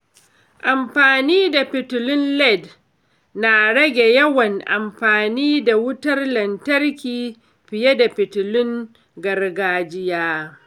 Amfani da fitilun LED na rage yawan amfani da wutar lantarki fiye da fitilun gargajiya.